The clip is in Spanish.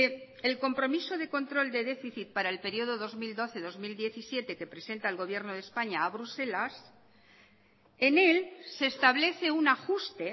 el compromiso de control de déficit para el periodo dos mil doce dos mil diecisiete que presenta el gobierno de españa a bruselas en él se establece un ajuste